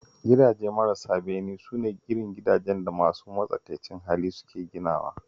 Gidaje marasa bene su ne irin gidajen da masu matsakaicin hali suke ginawa